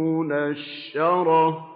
مُّنَشَّرَةً